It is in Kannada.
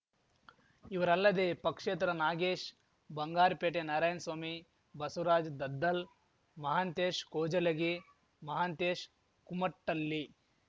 ಇವರಲ್ಲದೆ ಪಕ್ಷೇತರ ನಾಗೇಶ್‌ ಬಂಗಾರಪೇಟೆ ನಾರಾಯನ್ ಸ್ವಾಮಿ ಬಸವರಾಜ್ ದದ್ದಲ್‌ ಮಹಾಂತೇಶ್‌ ಕೌಜಲಗಿ ಮಹಾಂತೇಶ್‌ ಕುಮಟ್ಟಳ್ಳಿ